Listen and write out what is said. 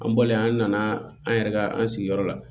An bɔlen an nana an yɛrɛ ka an sigiyɔrɔ la